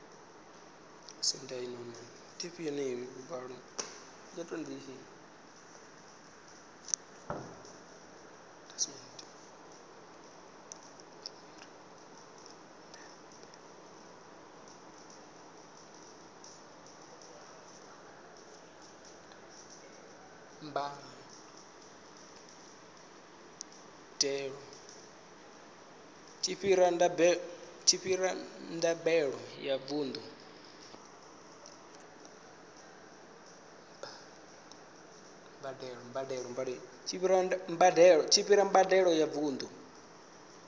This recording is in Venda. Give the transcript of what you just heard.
tshi fhira mbadelo ya vundu